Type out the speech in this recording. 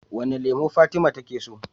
Wane lemo fatima take so?